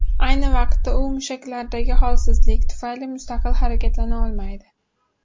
Ayni vaqtda u mushaklardagi holsizlik tufayli mustaqil harakatlana olmaydi.